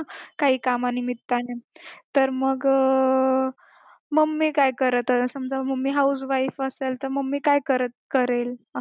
काही कामानिमित्ताने तर मग अं mummy काय असेल समजा mummy housewife असेल तर mummy करत करेल असं